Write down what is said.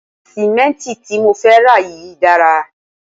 Sì̀mẹ́ǹtì tí mo fẹ́ rà yìí dára